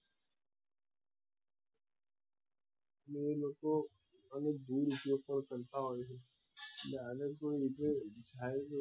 ને એ લોકો એનો દુરુપયોગ પણ કરતા હોય છે